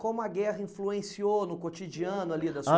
Como a guerra influenciou no cotidiano ali da sua